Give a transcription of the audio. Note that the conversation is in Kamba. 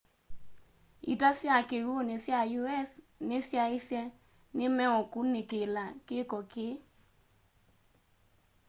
ita sya kiwuni sya us ni syaisye ni meukunikilaa kiko kii